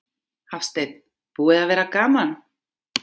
Hafsteinn: Búið að vera gaman?